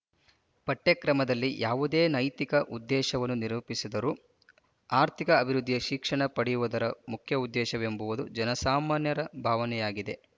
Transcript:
ಪಠ್ಯಕ್ರಮದಲ್ಲಿ ಯಾವುದೇ ನೈತಿಕ ಉದ್ದೇಶವನ್ನು ನಿರೂಪಿಸಿದರೂ ಆರ್ಥಿಕ ಅಭಿವೃದ್ಧಿಯೇ ಶಿಕ್ಷಣ ಪಡೆಯುವುದರ ಮುಖ್ಯೋದ್ದೇಶವೆಂಬುದು ಜನಸಾಮಾನ್ಯರ ಭಾವನೆಯಾಗಿದೆ